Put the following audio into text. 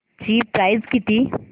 ची प्राइस किती